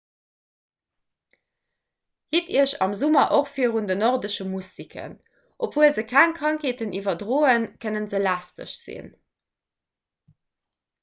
hitt iech am summer och virun den nordesche mustiken obwuel se keng krankheeten iwwerdroen kënne se lästeg sinn